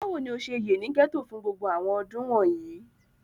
Bawo ni o ṣe ye ni gẹto fun gbogbo àwọn ọdun wọnyi?